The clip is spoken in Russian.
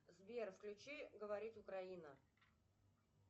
сбер включи говорит украина